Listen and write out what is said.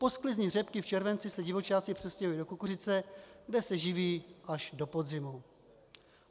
Po sklizni řepky v červenci se divočáci přestěhují do kukuřice, kde se živí až do podzimu.